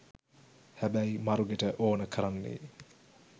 හැබැයි මරුගෙට ඕන කරන්නෙ